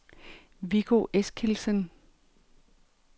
Viggo Eskildsen